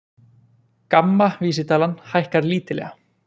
GAMMA vísitalan hækkar lítillega